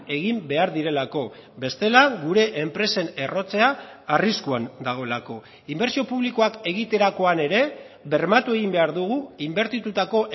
egin behar direlako bestela gure enpresen errotzea arriskuan dagoelako inbertsio publikoak egiterakoan ere bermatu egin behar dugu inbertitutako